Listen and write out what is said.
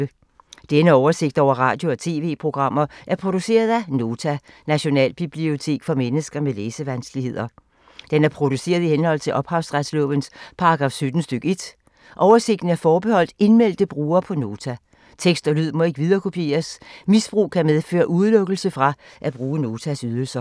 Denne oversigt over radio og TV-programmer er produceret af Nota, Nationalbibliotek for mennesker med læsevanskeligheder. Den er produceret i henhold til ophavsretslovens paragraf 17 stk. 1. Oversigten er forbeholdt indmeldte brugere på Nota. Tekst og lyd må ikke viderekopieres. Misbrug kan medføre udelukkelse fra at bruge Notas ydelser.